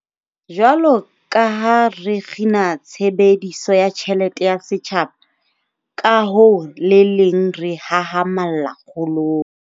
Jwalo ka ha re kgina tshebediso ya tjhelete ya setjhaba, ka ho le leng re hahamalla kgolong.